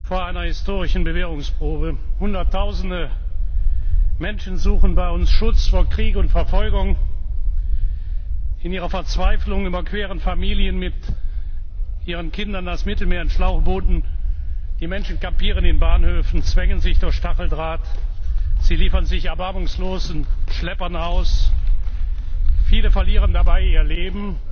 Meine Damen und Herren! In diesen Tagen steht Europa vor einer historischen Bewährungsprobe. Hunderttausende Menschen suchen bei uns Schutz vor Krieg und Verfolgung. In ihrer Verzweiflung überqueren Familien mit ihren Kindern das Mittelmeer in Schlauchbooten. Die Menschen kampieren in Bahnhöfen, zwängen sich durch Stacheldraht, sie liefern sich erbarmungslosen Schleppern aus. Viele verlieren dabei ihr Leben